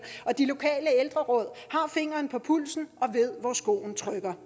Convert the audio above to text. og de lokale ældreråd har fingeren på pulsen og ved hvor skoen trykker